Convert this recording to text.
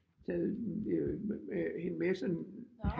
Taget hende med sådan